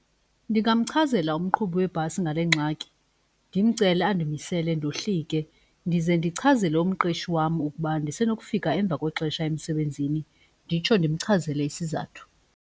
Ndingamchazela umqhubi webhasi ngale ngxaki ndimcele andimisele ndohlike ndize ndichazele umqeshi wam ukuba ndisenokufika emva kwexesha emsebenzini nditsho ndimchazele isizathu.